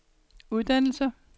uddannelser